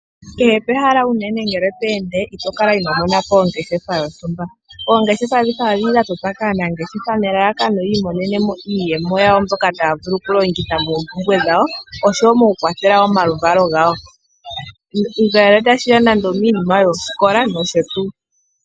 Kehe pehala unene to ende ito kala ino mona po ongeshefa yontumba. Oongeshefa ndhika ohadhi totwa po kaanangeshefa opo yii imonene mo iiyemo yawo mbyoka taa vulu okukwathela moompumbwe dha wo. Ngaashi piinima yoosikola nosho tuu.